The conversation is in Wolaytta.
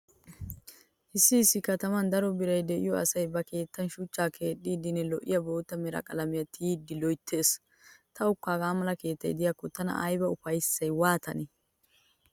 Issi issi kataman daro biray diyo asay ba keettaa shuchchan keexxidinne lo'iya bootta mera qalamiya tiyidi loyttees. Tawukka hagaa mala keettay diyakko tana ufayssay waatanee?